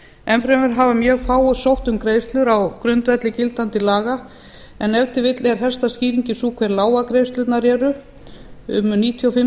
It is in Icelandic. enn fremur hafa mjög fáir sótt um greiðslur á grundvelli gildandi laga en ef til vill er helsta skýringin sú hvað lágar greiðslurnar eru um níutíu og fimm